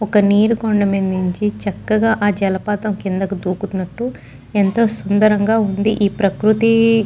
ఒక నీరు కుండ నుంచి చక్కగా ఆ జలపాతం కిందకు దూకుతున్నట్టు ఎంతో సుందరంగా వుంది ఈ ప్రకృతి --